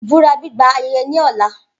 Ibura gbigba ayeye ni ọla